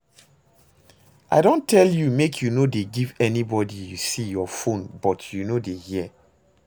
I don tell you make you no dey give anybody you see your phone but you no dey hear